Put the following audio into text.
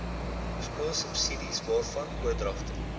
skoolsubsidies waarvan oordragte